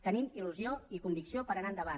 tenim il·lusió i convicció per anar endavant